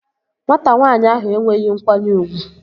Nwata nwanyị ahụ enweghị nkwanye ugwu